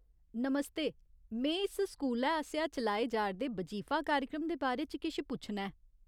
नमस्ते, में इस स्कूलै आसेआ चलाए जा'रदे बजीफा कार्यक्रम दे बारे च किश पुच्छना ऐ।